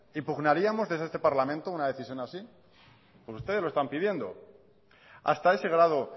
impugnaríamos desde este parlamento una decisión así ustedes lo están pidiendo hasta ese grado